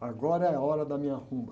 agora é a hora da minha rumba.